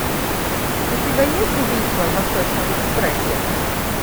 у тебя есть убийство в восточном экспрессе